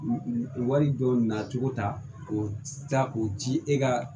Wari dɔw nacogo ta k'o ta k'o ci e ka